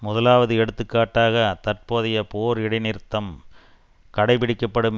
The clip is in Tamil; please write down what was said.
முதலாவது எடுத்துக்காட்டாக தற்போதைய போர் இடை நிறுத்தம் கடைப்பிடிக்கப்படும்